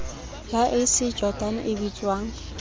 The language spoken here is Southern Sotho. ya ac jordan e bitswang